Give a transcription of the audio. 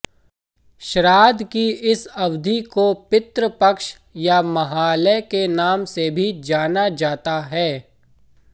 श्राद्ध की इस अवधि को पितृपक्ष या महालय के नाम से भी जाना जाता है